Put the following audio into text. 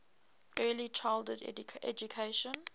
early childhood education